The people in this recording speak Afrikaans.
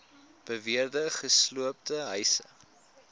beweerde gesloopte huise